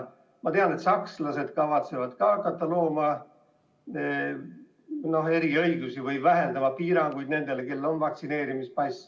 Ma tean, et sakslased kavatsevad hakata looma eriõigusi või vähendama piiranguid nendele, kellel on vaktsineerimispass.